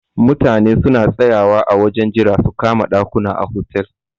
Mutane suna tsayawa a wajen jira su kama ɗakuna a hotel.